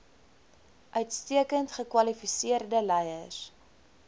uitstekend gekwalifiseerde leiers